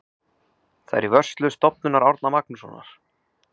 Það er í vörslu Stofnunar Árna Magnússonar.